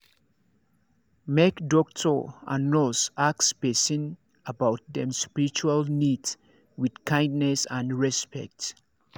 make doctor and nurse ask person about dem spiritual needs with kindness and respect